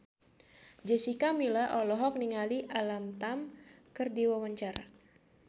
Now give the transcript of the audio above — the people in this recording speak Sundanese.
Jessica Milla olohok ningali Alam Tam keur diwawancara